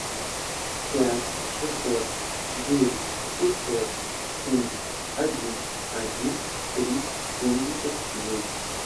пять шестьсот девять пятьсот семьдесят один один три семьдесят девять